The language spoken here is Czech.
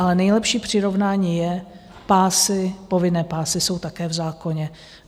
Ale nejlepší přirovnání jsou pásy, povinné pásy - jsou také v zákoně.